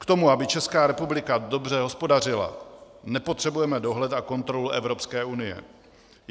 K tomu, aby Česká republika dobře hospodařila, nepotřebujeme dohled a kontrolu Evropské unie.